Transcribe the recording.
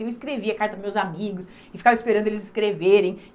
Eu escrevia carta para os meus amigos e ficava esperando eles escreverem.